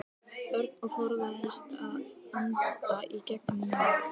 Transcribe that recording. Örn og forðaðist að anda í gegnum nefið.